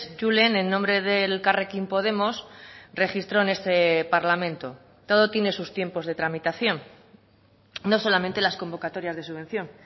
julen en nombre del elkarrekin podemos registró en este parlamento todo tiene sus tiempos de tramitación no solamente las convocatorias de subvención